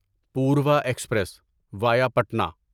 Purva express via Patna